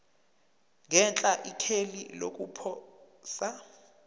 ngenhla ikheli lokuposa